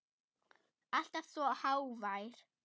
Alltaf svo hógvær.